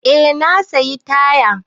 Eh na sayi taya.